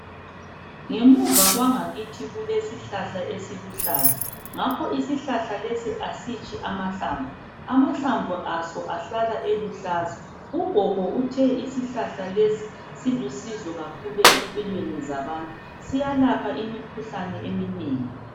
Ngemuva kwangakithi kulesihlahla esiluhlaza ngakho isihlahla lesi asitshi amahlamvu, amahlamvu aso ahlala eluhlaza. Ugogo uthe isihlahla lesi silusizo kakhulu empilweni zabantu siyalapha imkhuhlane eminengi.